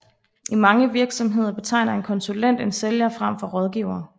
I mange virksomheder betegner en konsulent en sælger frem for en rådgiver